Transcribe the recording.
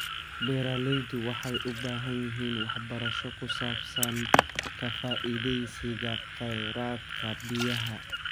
Beeraleydu waxay u baahan yihiin waxbarasho ku saabsan ka faa'iidaysiga kheyraadka biyaha.